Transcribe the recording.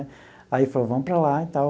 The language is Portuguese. Aí ele falou, vamos para lá e tal.